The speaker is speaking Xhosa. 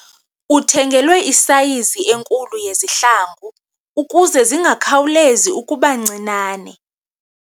Uthengelwe isayizi enkulu yezihlangu ukuze zingakhawulezi ukuba ncinane.